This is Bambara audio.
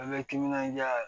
An bɛ timinandiya yɛrɛ